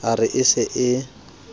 a re e se e